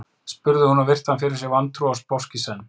spurði hún og virti hann fyrir sér vantrúuð og sposk í senn.